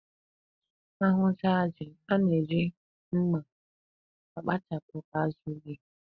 A hụcha ji, a na-eji mma akpachapụ azụ ji.